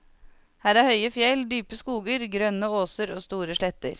Her er høye fjell, dype skoger, grønne åser og store sletter.